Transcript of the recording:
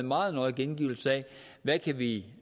meget nøjagtigt angivet i